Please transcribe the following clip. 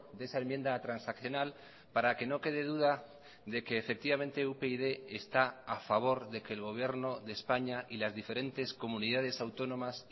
de esa enmienda transaccional para que no quede duda de que efectivamente upyd está a favor de que el gobierno de españa y las diferentes comunidades autónomas